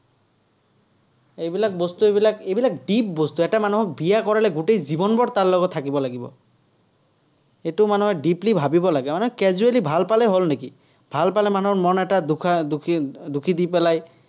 এইবিলাক বস্তু বিলাক, এইবিলাক deep বস্তু। এটা মানুহক বিয়া কৰালে গোটেই জীৱনভৰ তাৰ লগত থাকিব লাগিব। সেইটো মানুহে deeply ভাৱিব লাগে, এনেই casually ভাল পালেই হ'ল নেকি! ভাল পালে মানুহৰ মন এটা দি পেলাই